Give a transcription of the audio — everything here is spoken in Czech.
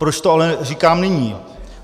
Proč to ale říkám nyní?